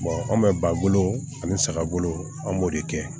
anw bɛ ba bolo ani saga bolo an b'o de kɛ